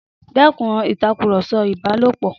Dẹ́kun ìtàkùrọ̀sọ ìbálòpọ̀!